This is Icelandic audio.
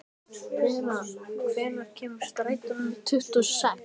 Bera, hvenær kemur strætó númer tuttugu og sex?